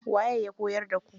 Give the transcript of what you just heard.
Waye ya koyar da ku?